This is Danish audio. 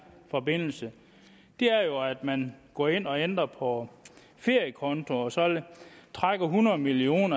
forbindelse er jo at man går ind og ændrer på feriekonto og så trækker hundrede million